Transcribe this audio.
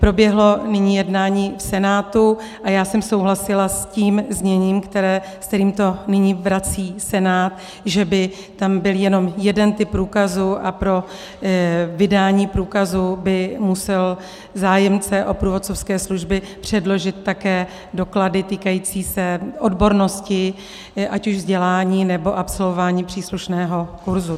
Proběhlo nyní jednání v Senátu a já jsem souhlasila s tím zněním, se kterým to nyní vrací Senát, že by tam byl jenom jeden typ průkazu a pro vydání průkazu by musel zájemce o průvodcovské služby předložit také doklady týkající se odbornosti, ať už vzdělání, nebo absolvování příslušného kurzu.